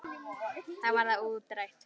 Þá var það útrætt.